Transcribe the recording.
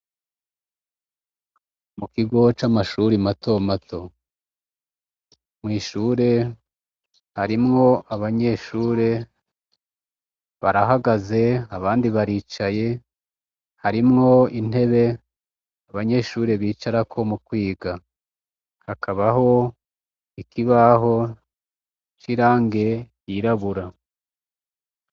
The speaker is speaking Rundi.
Mukigo c'amashure mato mato, harimwo abanyeshure barahagaze abandi baricaye, hari intebe abanyeshure bicarako mukwiga, hakabaho ikibaho cirangi ryirabura.